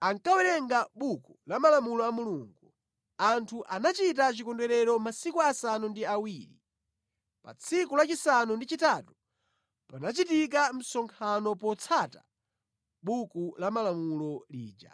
ankawerenga buku la malamulo a Mulungu. Anthu anachita chikondwerero masiku asanu ndi awiri. Pa tsiku lachisanu ndi chitatu panachitika msonkhano potsata buku la malamulo lija.